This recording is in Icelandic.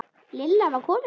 Lilla var komin.